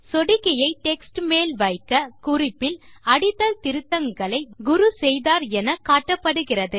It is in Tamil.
சொடுக்கியை டெக்ஸ்ட் மேல் வைக்க குறிப்பில் அடித்தல் திருத்தங்களை குரு செய்தார் என காட்டப்படுகிறது